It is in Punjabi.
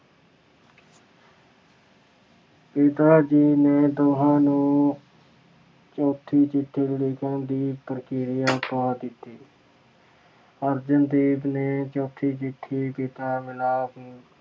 ਪਿਤਾ ਜੀ ਨੇ ਦੋਹਾਂ ਨੂੰ ਚੌਥੀ ਚਿੱਠੀ ਲਿਖਣ ਦੀ ਪ੍ਰਕਿਰਿਆ ਪਾ ਦਿੱਤੀ। ਅਰਜਨ ਦੇਵ ਜੀ ਨੇ ਚੌਥੀ ਚਿੱਠੀ ਪਿਤਾ ਮਿਲਾਪ